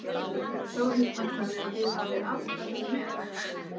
Þórhildur: Þannig þið hafið alltaf verið með?